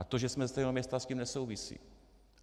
A to, že jsme ze stejného města, s tím nesouvisí.